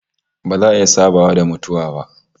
Ba za a iya sabawa da mutuwa ba